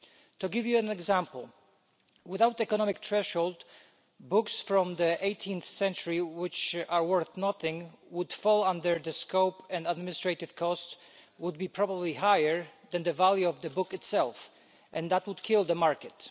To give you an example, without an economic threshold, books from the 18th century which are worth nothing would fall under the scope and administrative costs would probably be higher than the value of the book itself, and that would kill the market.